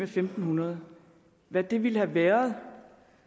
fem hundrede hvad det ville have været